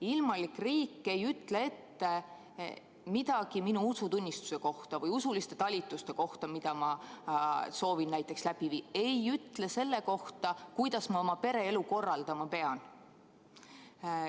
Ilmalik riik ei ütle ette midagi minu usutunnistuse kohta või usuliste talituste kohta, mida ma soovin näiteks läbi viia, ei ütle selle kohta, kuidas ma oma pereelu korraldama pean.